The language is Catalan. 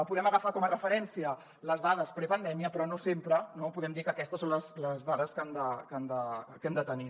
podem agafar com a referència les dades prepandèmia però no sempre no podem dir que aquestes són les dades que hem de tenir